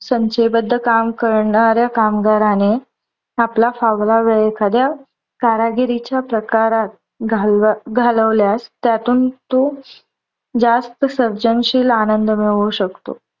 संचयबद्ध काम करणाऱ्या कामगाराने आपला फावला वेळ एखाद्या कारागिरीच्या प्रकारात घाल घालवल्यास त्यातून तो जास्त सर्जनशील आनंद मिळवू शकतो.